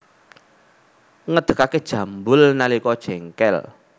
Ngedegake jambul nalika jengkel